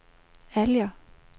Alger